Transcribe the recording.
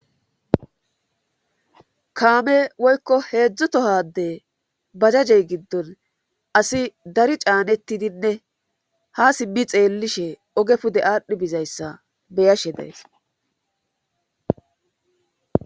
kaame woykko heedzdzutohade bajajey giddon asi dari caanettidinne ha sibi xeellishe oge pude aadhdhi bizayssa beyashe days